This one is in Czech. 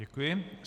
Děkuji.